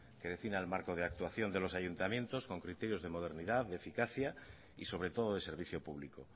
que defina el marco de actuación de los ayuntamientos con criterios de modernidad de eficacia y sobre todo de servicio público